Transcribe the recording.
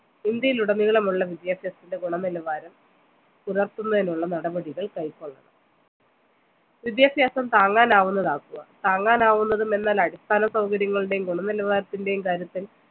ഇന്ത്യയിൽ ഉടനീളമുള്ള വിദ്യാഭ്യാസത്തിൻ്റെ ഗുണനിലവാരം പുലർത്തുന്നതിനുള്ള നടപടികൾ കൈകൊള്ളണം വിദ്യാഭ്യാസം താങ്ങാനാവുന്നതാക്കുക താങ്ങാനാവുന്നതും എന്നാൽ അടിസ്ഥന സൗകര്യങ്ങളുടെയും ഗുണനിലാവാരത്തിൻ്റെയും കാര്യത്തിൽ